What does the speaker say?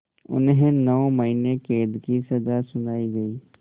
उन्हें नौ महीने क़ैद की सज़ा सुनाई गई